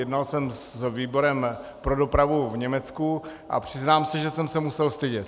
Jednal jsem s výborem pro dopravu v Německu a přiznám se, že jsem se musel stydět.